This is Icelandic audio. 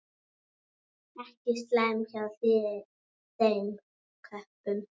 Ekki slæmt hjá þeim köppum.